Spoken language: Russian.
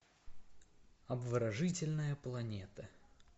обворожительная планета